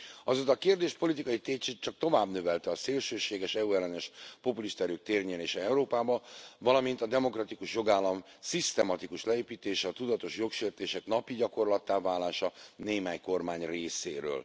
Azóta a kérdés politikai tétjét csak tovább növelte a szélsőséges EU ellenes populista erők térnyerése Európában, valamint a demokratikus jogállam szisztematikus leépítése, a tudatos jogsértések napi gyakorlattá válása némely kormány részéről.